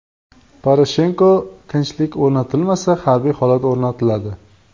Poroshenko: tinchlik o‘rnatilmasa, harbiy holat o‘rnatiladi.